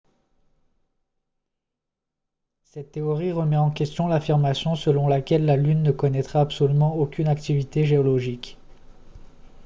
cette théorie remet en question l'affirmation selon laquelle la lune ne connaîtrait absolument aucune activité géologique